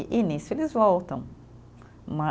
E nisso eles voltam.